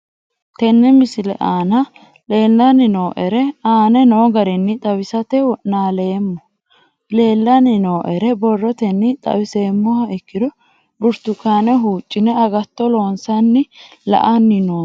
Tene misile aana leelanni nooerre aane noo garinni xawisate wonaaleemmo. Leelanni nooerre borrotenni xawisummoha ikkiro burtukaane huucine agaato loosanna la'anni noomo